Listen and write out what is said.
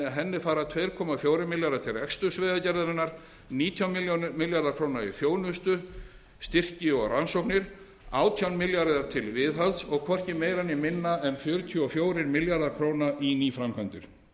henni fara tveir fjórir milljarðar króna til reksturs vegagerðarinnar nítján milljarðar króna í þjónustu styrki og rannsóknir átján milljarðar til viðhalds og hvorki meira ár minna fjörutíu og fjórir milljarðar króna í nýframkvæmdir fimmta